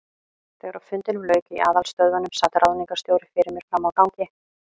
Þegar fundinum lauk í aðalstöðvunum, sat ráðningarstjóri fyrir mér frammi á gangi.